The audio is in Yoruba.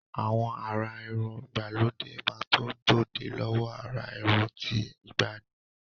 Àwọn àrà irun ìgbàlódé máa tó gbòde lọ́wọ àrà irun ti ìgbàanì.